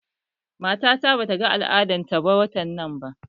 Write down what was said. Matata bata ga al'adar ta watan nan ba